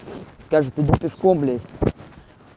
скажут иди пешком блядь